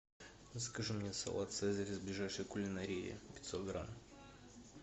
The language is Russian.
закажи мне салат цезарь из ближайшей кулинарии пятьсот грамм